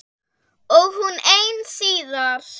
Og hún ein síðar.